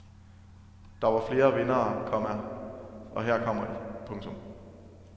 Der var flere vindere, komma og her kommer de. punktum